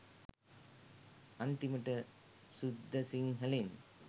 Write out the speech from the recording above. අන්තිමට සුද්ද සිංහලෙන්